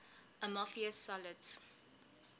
amorphous solids